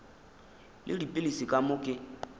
le dipilisi ka moo ke